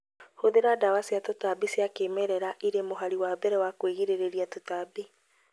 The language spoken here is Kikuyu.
Hũthira dawa cia tũtambi cia kĩmerera irĩ mũhari wa mbere wa kwĩgirĩrĩria tũtambi